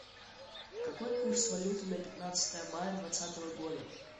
какой курс валюты на пятнадцатое мая двадцатого года